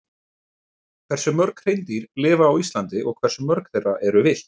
Hversu mörg hreindýr lifa á Íslandi og hversu mörg þeirra eru villt?